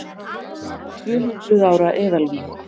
Tvöhundruð ára eðalvín